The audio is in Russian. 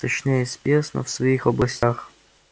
точнее спец но в своих областях